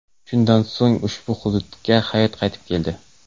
Shundan so‘ng ushbu hududga hayot qaytib keldi.